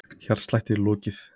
Hjartslætti er lokið.